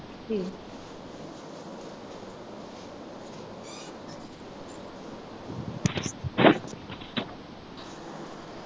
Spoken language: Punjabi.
ਠੀਕ ਹੈ।